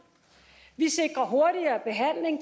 vi sikrer hurtigere behandling